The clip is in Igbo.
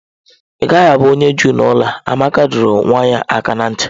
Ị gaghị abụ onye Juu n'ụlọ a! Amaka dọrọ nwa ya aka ná ntị.